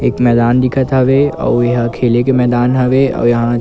एक मैदान दिखत हवे अउ एहा खेले के मैदान हवे अऊ एहा--